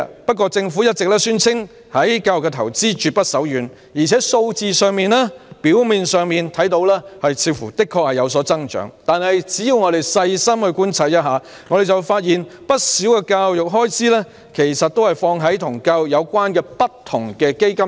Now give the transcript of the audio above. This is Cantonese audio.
不過，政府一直宣稱對教育的投資絕不手軟，而且從數字上看來似乎有所增長，但只要我們細心觀察，便會發現不少教育開支都投放在與教育有關的不同基金上。